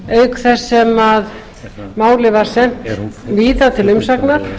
auk þess sem málið var sent víða til umsagna